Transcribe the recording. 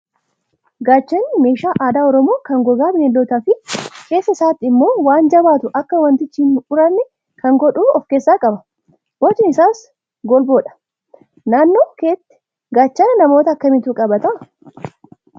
Gaachanni meeshaa aadaa oromoo kan gogaa bineeldotaa fi keessa isaatti immoo waan jabaatu akka wantichi hin uranne kan godhu of keessaa qaba. Bocni isaas golboodha. Naannoo keetti gaachana namoota akkamiitu qabata?